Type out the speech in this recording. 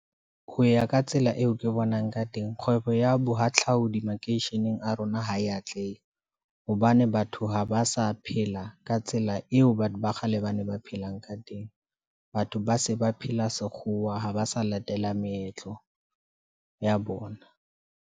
Ho ya ka tsela eo ke bonang ka teng, kgwebo ya bohahlaudi makeisheneng a rona ha e atlehe, hobane batho ha ba sa phela ka tsela eo batho ba kgale ba ne ba phelang ka teng. Batho ba se ba phela sekgowa, ha ba sa latela meetlo ya bona.